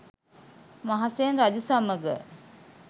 මහසෙන් රජු සමඟ